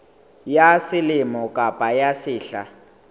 ya selemo kapa ya sehla